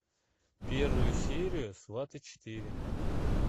первая серия сваты четыре